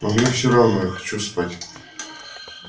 но мне все равно я хочу спать